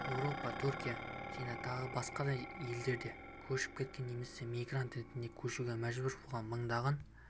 еуропа түркия және тағы басқа елдерге көшіп кеткен немесе мигрант ретінде көшуге мәжбүр болған мыңдаған